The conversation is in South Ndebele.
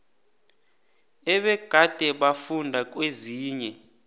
ebegade bafunda kezinye